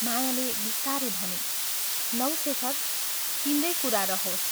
मायाले बिस्तारै भनी, "लौ शेखर, तिम्रै कुरा रहोस्।